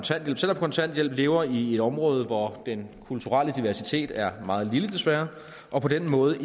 kontanthjælp og lever i et område hvor den kulturelle diversitet er meget lille desværre og på den måde